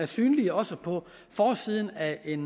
synlig også på forsiden af et